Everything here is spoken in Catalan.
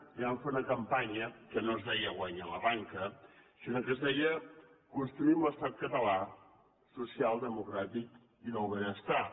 i vam fer una campanya que no es deia guanya la banca sinó que es deia construïm l’estat català social democràtic i del benestar